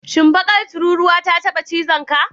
Shin, bakar tururuwa ta taba cizonka?